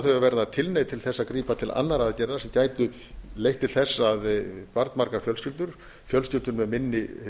þau að verða tilneydd til þess að grípa til annarra aðgerða sem gætu leitt til þess að barnmargar fjölskyldur fjölskyldur með minni